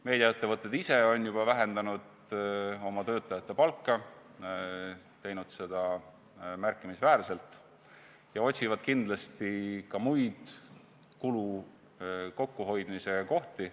Meediaettevõtted ise on juba vähendanud oma töötajate palka, nad on teinud seda märkimisväärselt ja otsivad kindlasti ka muid kulude kokkuhoidmise kohti.